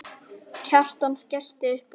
Kjartan skellti upp úr.